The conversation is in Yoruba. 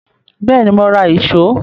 Bẹ́ẹ̀ni, mo ra ìṣó